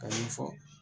Ka ɲɛfɔ